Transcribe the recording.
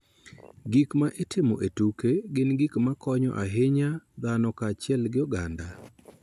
Gik ma itimo e tuke gin gik ma konyo ahinya dhano kaachiel gi oganda.